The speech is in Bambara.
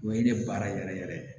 O ye ne baara yɛrɛ yɛrɛ ye